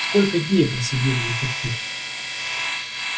столько дней просидели взаперти